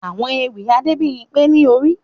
Àwọn ewì Adebimpe ni Ori